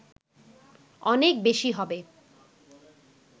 অনেক বেশী হবে